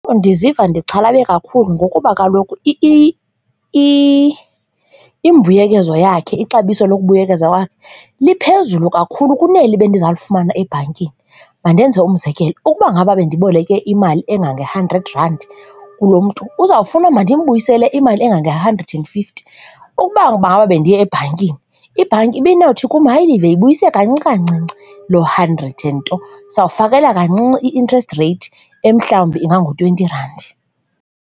Ndiziva ndixhalabe kakhulu ngokuba kaloku imbuyekezo yakhe, ixabiso lokubuyekeza kwakhe liphezulu kakhulu kuneli bendiza kulifumana ebhankini. Mandenze umzekelo. Ukuba ngaba bandiboleke imali engange-hundred randi kulo mntu, uzawufuna mandimbuyisele imali engange hundred and fifty, ukuba ngaba bendiye ebhankini, ibhanki ibinowuthi kum, hayi, Live, yibuyise kancinci kancinci loo hundred and nto sawukufakelwa kancinci i-interest reythi emhlawumbi inga ngu-twenty randi.